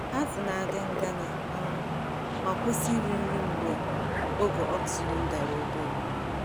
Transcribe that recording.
Azụ na-adị ngana um ma kwụsị iri nri mgbe ogo oxygen dara obere.